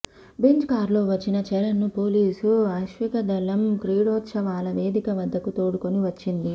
Benz కారులో వచ్చిన చరణ్ ను పోలీసు అశ్వికదళం క్రీడోత్సవాల వేదిక వద్దకు తోడ్కొని వచ్చింది